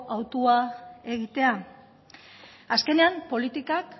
hautua egitea azkenean politikak